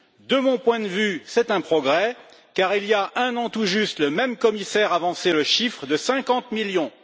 De mon point de vue, c'est un progrès, car il y a un an tout juste, le même commissaire avançait le chiffre de 50 millions.